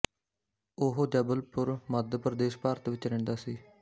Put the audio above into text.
ਉਹ ਜਬਲਪੁਰ ਮੱਧ ਪ੍ਰਦੇਸ਼ ਭਾਰਤ ਵਿੱਚ ਰਹਿੰਦਾ ਸੀ